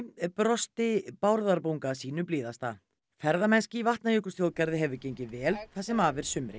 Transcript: brosti Bárðarbunga sínu blíðasta ferðamennska í Vatnajökulsþjóðgarði hefur gengið vel það sem af er sumri